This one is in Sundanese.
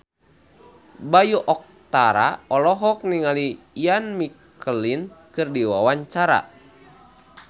Bayu Octara olohok ningali Ian McKellen keur diwawancara